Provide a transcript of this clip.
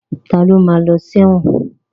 Ta ló ma lọ sí ẹ̀wọ̀n?